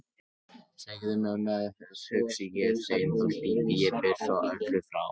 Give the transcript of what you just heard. Segðu mömmu að hugsi ég heim þó hlypi ég burt öllu frá.